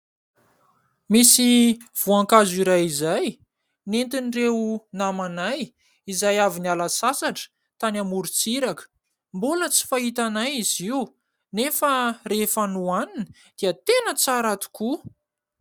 Misy voankazo iray izay nentiny ireo namanay izay avy niala sasatra tany amorontsiraka. Mbola tsy fahitanay izy io nefa rehefa nohanina dia tena tsara tokoa.